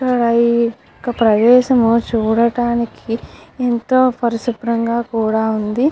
ఇక్కడ ఏఎ ప్రదేశము చూడడానికి ఎంతో పరిశుభ్రంగా కూడా వుంది.